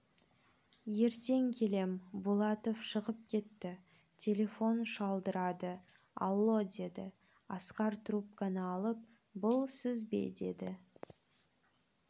ертең келем булатов шығып кетті телефон шылдырады алло деді асқар трубканы алып бұл сіз бе деді